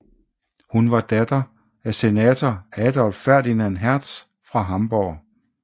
Hun var datter af senator Adolph Ferdinand Hertz fra Hamborg